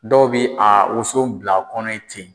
Dɔw bi a woso bila a kɔnɔ yi ten.